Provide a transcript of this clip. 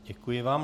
Děkuji vám.